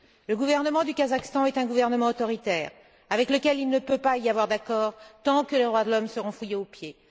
Le gouvernement du Kazakhstan est un gouvernement autoritaire, avec lequel il ne peut pas y avoir d'accord tant que les droits de l'homme seront foulés aux pieds.